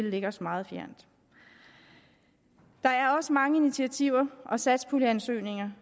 ligger os meget fjernt der er også mange initiativer og satspuljeansøgninger